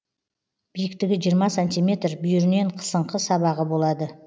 биіктігі жиырма сантиметр бүйірінен қысыңқы сабағы болады